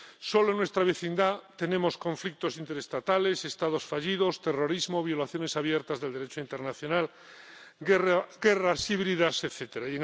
Solo en nuestra vecindad tenemos conflictos interestatales, Estados fallidos, terrorismo, violaciones abiertas del Derecho internacional, guerras híbridas, etcétera.